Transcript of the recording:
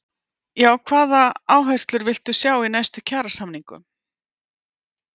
Höskuldur Kári: Já, hvaða áherslur villt þú sjá í næstu kjarasamningum?